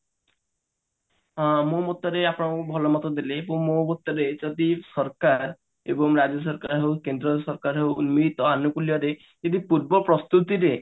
ହଁ ମୁଁ ଭଲ ମତ ଦେଲି ମୁଁ ଦେଇଛନ୍ତି ସରକାର ଏବଂ ରାଜ୍ୟ ସରକାର ହଉ କେନ୍ଦ୍ର ସରକାର ହେଉ ଉନ୍ନୀତ ଆଲୁକୁଲ୍ୟା ଦେଇ ଯଦି ପୂର୍ବ ପ୍ରସ୍ତୁତି ରେ